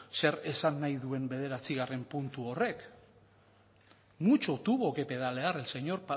zer esan nahi duen bederatzigarren puntu horrek mucho tuvo que pedalear el señor